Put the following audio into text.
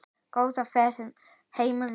Góða ferð heim vinan.